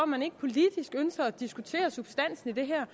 man ikke politisk ønsker at diskutere substansen i det her